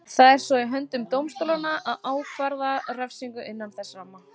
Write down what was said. Það er svo í höndum dómstólanna að ákvarða refsingu innan þess ramma.